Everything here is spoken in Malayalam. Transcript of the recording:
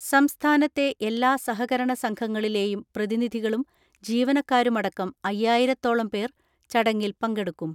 സംസ്ഥാനത്തെ എല്ലാ സഹകരണസംഘങ്ങളിലെയും പ്രതിനിധികളും ജീവനക്കാരുമടക്കം അയ്യായിരത്തോളം പേർ ചടങ്ങിൽ പങ്കെടുക്കും.